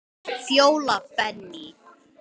Fjóla Benný.